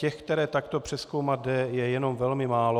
Těch, které takto přezkoumat jde, je jenom velmi málo.